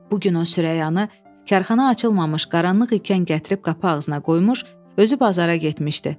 Bu gün o Sürəyanı karxana açılmamış qaranlıq ikən gətirib qapı ağzına qoymuş, özü bazara getmişdi.